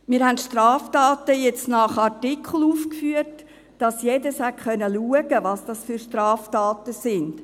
Wir haben die Straftaten jetzt nach Artikel aufgeführt, damit alle schauen können, welche Straftaten es sind.